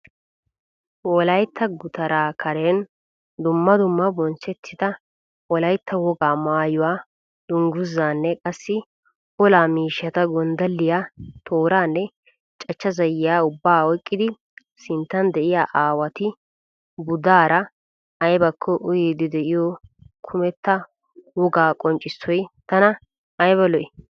Wolaytta gutaraa karen dumma dumma bonchchettida wolaytta wogaa maayuwaa dungguzzaanne qassi olaa miishshata gonddalliya, tooraanne cachcha zayiya ubba oyqqid sinttan de'iya awaati buudaara aybakko uyiid de'iyo kumeta wogaa qonccissoy tana ayba lo'ii!